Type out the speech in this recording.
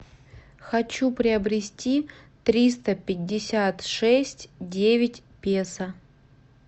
хочу приобрести триста пятьдесят шесть девять песо